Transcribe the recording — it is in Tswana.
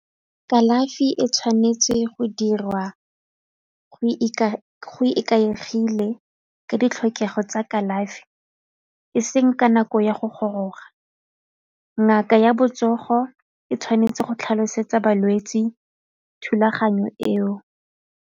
Kalafi e tshwanetse go dirwa go ikaegile ka ditlhokego tsa kalafi e seng ka nako ya go goroga. Ngaka ya botsogo e tshwanetse go tlhalosetsa balwetse thulaganyo eo.